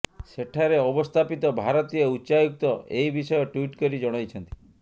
ସେଠାରେ ଅବସ୍ଥାପିତ ଭାରତୀୟ ଉଚ୍ଚାୟୁକ୍ତ ଏହି ବିଷୟ ଟ୍ୱିଟ କରି ଜଣାଇଛନ୍ତି